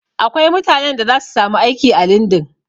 Akwai mutanen da zasu samu aiki a lindin